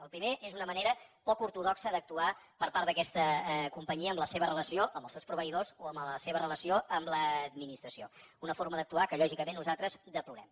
el primer és una manera poc ortodoxa d’actuar per part d’aquesta companyia en la seva relació amb els seus proveïdors o en la seva relació amb l’administració una forma d’actuar que lògicament nosaltres deplorem